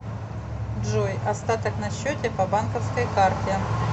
джой остаток на счете по банковской карте